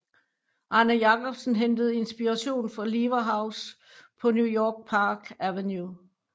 Arne Jacobsen hentede inspiration fra Lever House på New Yorks Park Avenue